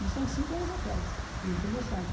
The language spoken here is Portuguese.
Isso há uns cinco anos atrás, quando eu tinha meu site.